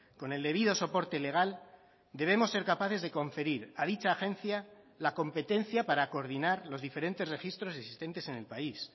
con el debido soporte legal debemos ser capaces de conferir a dicha agencia la competencia para coordinar los diferentes registros existentes en el país